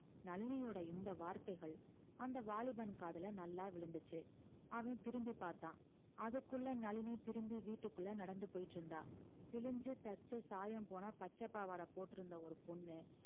நளினியோட இந்த வார்த்தைகள் அந்த வாலிபன் காதுல நல்லா விழுந்துச்சு அவன் திரும்பிப் பார்த்தான் அதுக்குள்ள நளினி திரும்பி வீட்டுக்குள்ள நடந்து போயிட்டு இருந்தா கிழிஞ்சு தச்ச சாயம் போனா பச்சைப் பாவாடை போட்டிருந்த ஒரு பொண்ணு